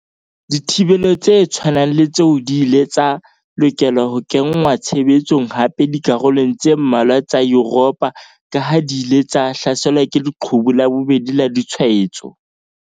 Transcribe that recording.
Dithibelo tse tshwanang le tseo di ile tsa lokela ho kenngwa tshebetsong hape dikarolong tse mmalwa tsa Yuropa kaha di ile tsa hlaselwa ke 'leqhubu la bobedi' la ditshwaetso.